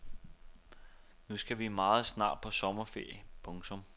Nu skal vi meget snart på sommerferie. punktum